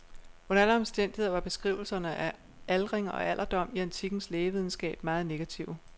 Under alle omstændigheder var beskrivelserne af aldring og alderdom i antikkens lægevidenskab meget negative.